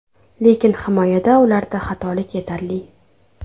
Lekin himoyada ularda xatolari yetarli.